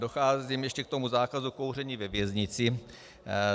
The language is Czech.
Docházím ještě k tomu zákazu kouření ve věznicích.